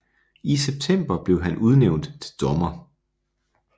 I september blev han udnævnt til dommer